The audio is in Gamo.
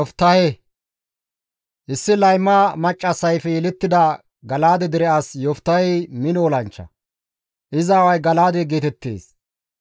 Issi layma maccassayfe yelettida Gala7aade dere as Yoftahey mino olanchcha; iza aaway Gala7aade geetettees.